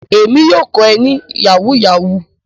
Èmi yóò kọ ẹ ní Yahoo yahoo